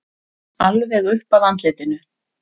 Alveg upp að andlitinu.